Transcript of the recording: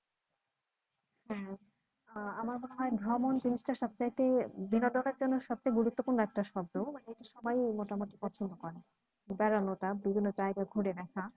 হ্যাঁ আহ আমার মনে হয় ভ্রমণ জিনিসটা সব চাইতে বিনোদনের জন্য সবচেয়ে গুরুত্বপূর্ণ একটা শব্দ মানে সবাই মোটামুটি পছন্দ করে বেড়ানোটা বিভিন্ন জায়গা ঘুরে দেখা